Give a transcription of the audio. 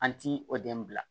An ti o den bila